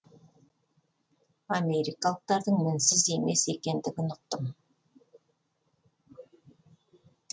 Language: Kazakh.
америкалықтардың мінсіз емес екендігін ұқтым